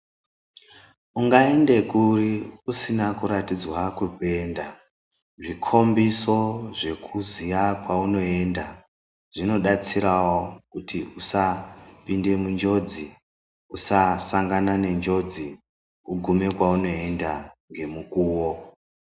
Ungaende kuri usina kuratidzwa kweunoenda. Zvikombiso zvekuziya kwaunoenda zvinodetserawo kuti usapinda munjodzi usasangana nenjodzi ugume kweunoenda ngemukuwo.